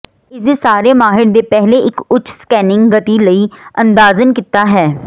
ਇਸ ਦੇ ਸਾਰੇ ਮਾਹਿਰ ਦੇ ਪਹਿਲੇ ਇੱਕ ਉੱਚ ਸਕੈਨਿੰਗ ਗਤੀ ਲਈ ਅੰਦਾਜ਼ਨ ਕੀਤਾ ਹੈ